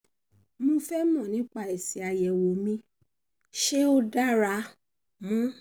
mo fẹ́ mọ̀ nípa èsì àyẹ̀wò mi ṣé ó dára mu